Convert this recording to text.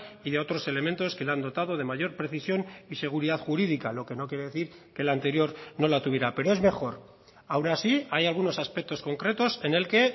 y de otros elementos que le han dotado de mayor precisión y seguridad jurídica lo que no quiere decir que el anterior no la tuviera pero es mejor aun así hay algunos aspectos concretos en el que